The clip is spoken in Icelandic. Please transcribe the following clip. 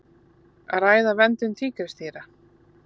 Ræða verndun tígrisdýra